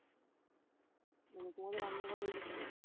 মানে তোমাদের রান্নাঘরের ওই দিকটায়